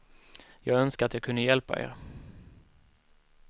Jag önskar att jag kunde hjälpa er.